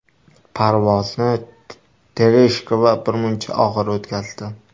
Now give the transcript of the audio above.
Parvozni Tereshkova birmuncha og‘ir o‘tkazdi.